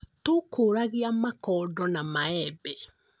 Tũkũragia makondo na maembe